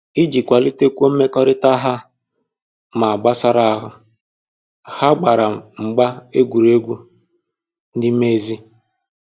Iji kwalitekwuo mmekọrịta ha ma gbasara ahụ, ha gbara mgba egwuregwu n'ime ezi